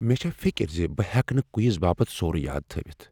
مےٚ چھےٚ فکر ز بہٕ ہیکہٕ نہٕ کویز باپتھ سورُے یاد تھٲوتھ۔